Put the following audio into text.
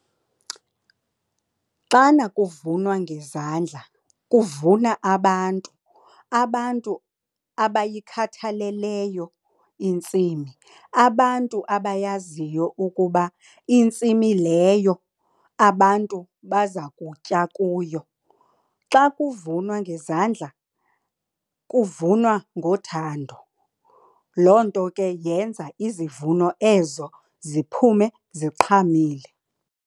Xana kuvunwa ngezandla kuvuna abantu, abantu abayikhathaleleyo intsimi, abantu abayaziyo ukuba intsimi leyo abantu baza kutya kuyo. Xa kuvunwa ngezandla kuvunwa ngothando. Loo nto ke yenza izivuno ezo ziphume ziqhamile.